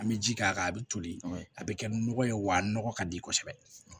An bɛ ji k'a kan a bɛ toli a bɛ kɛ nɔgɔ ye wa a nɔgɔ ka di kosɛbɛ